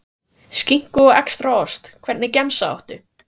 Skinku og extra ost Hvernig gemsa áttu?